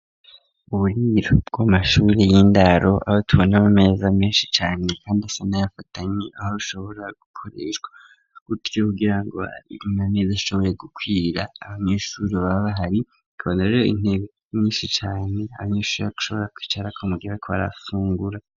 Uburiro bwa mashure y'indaro, aba tubona ku meza menshi cane kandi asana yafatanye aho ashobora gukoreshwa kutyo kugira ngo ibima mezi ashoboye gukwira abanyeshure baba bahari kabanaro intege nyinshi cane abana sakaje ushobora kwicara ku mugebe kobari gufungura.